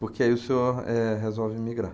Porque aí o senhor, eh, resolve migrar.